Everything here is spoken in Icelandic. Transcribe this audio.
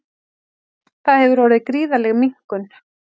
Þar hefur orðið gríðarleg minnkun